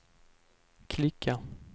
klicka